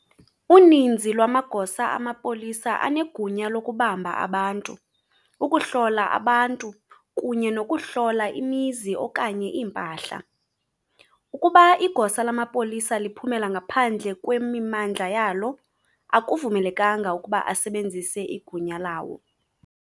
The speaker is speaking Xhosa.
Uninzi lwamagosa amapolisa anegunya lokubamba abantu, hlola abantu, kunye nokuhlola imizi, iimpahla. Ukuba igosa lamapolisa liphumela ngaphandle kwe-mimmandla yalo, akavumelekanga ukuba asebenzise igunya lawo.